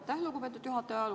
Aitäh, lugupeetud juhataja!